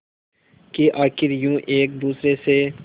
कि आखिर यूं एक दूसरे से